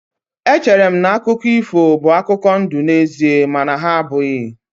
Echere m na akụkọ ifo bụ akụkọ ndụ n'ezie mana ha abụghị.